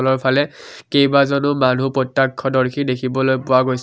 এফালে কেইবাজনো মানুহ প্ৰত্যক্ষদৰ্শী দেখিবলৈ পোৱা গৈছে।